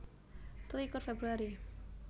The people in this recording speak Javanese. Selikur Februari